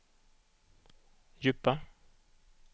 djupa